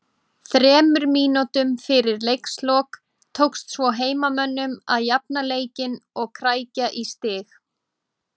Þremur mínútum fyrir leiks lok tókst svo heimamönnum að jafna leikinn og krækja í stig